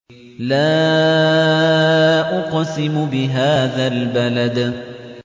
لَا أُقْسِمُ بِهَٰذَا الْبَلَدِ